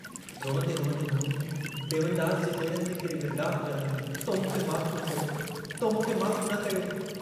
रोअन्दे रोअन्दे मोहिनी डेवनदास जे पेरनि ते किरी विर्लाप करण लगी तो मूंखे माफ़ न कयो... तो मूंखे माफ़ न कयो...!